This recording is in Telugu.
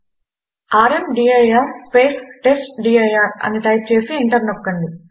ర్మదీర్ స్పేస్ టెస్ట్డిర్ అని టైప్ చేసి ఎంటర్ నొక్కండి